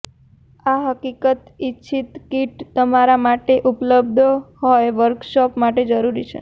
આ હકીકત ઇચ્છિત કીટ તમારા માટે ઉપલબ્ધ હોય વર્કશોપ માટે જરૂરી છે